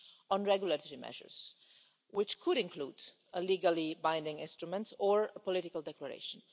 on regulatory measures, which could include a legally-binding instrument or a political declaration.